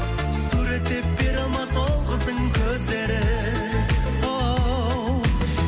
суреттеп бере алмас ол қыздың көздерін оу